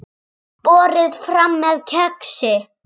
Borið fram með kexi.